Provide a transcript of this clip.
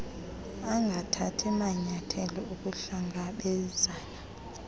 angathathi manyayathelo okuhlangabezana